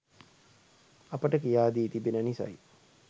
අපට කියා දී තිබෙන නිසයි